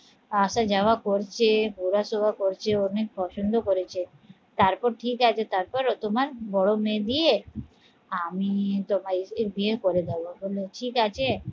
আসা যাওয়া করছে, ঘোরা সোরা করছে, অনেক পছন্দ করেছে তারপর ঠিক আছে, তারপর ও তোমার বড় মেয়ে দিয়ে আমি তোমায় এর বিয়ে করে যাবো, বললো ঠিক আছে